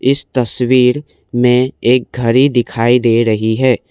इस तस्वीर में एक घड़ी दिखाई दे रही है।